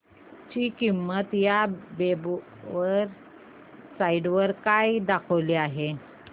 ची किंमत या वेब साइट वर काय दाखवली आहे